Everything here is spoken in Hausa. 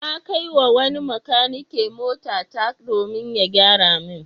Na kai wa wani makanike motata domin ya gyara min.